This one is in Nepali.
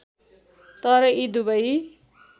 तर यी दुबै